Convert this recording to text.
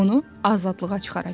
Onu azadlığa çıxaracam.